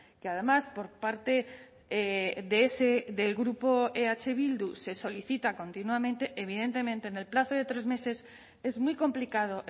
que además por parte del grupo eh bildu se solicita continuamente evidentemente en el plazo de tres meses es muy complicado